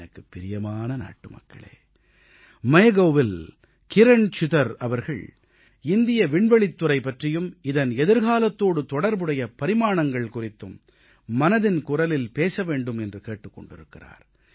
எனக்குப் பிரியமான நாட்டுமக்களே MyGovஇல் கிரண் சிதர் அவர்கள் இந்திய விண்வெளித்துறை பற்றியும் இதன் எதிர்காலத்தோடு தொடர்புடைய பரிமாணங்கள் குறித்தும் மனதின் குரலில் பேச வேண்டும் என்று கேட்டுக் கொண்டிருக்கிறார்